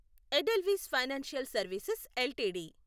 Edelweiss financial services LTD